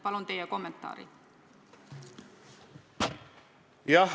Palun teie kommentaari!